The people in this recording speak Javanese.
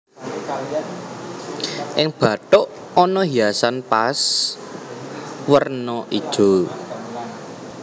Ing bathuk ana hiasan paes werna ijo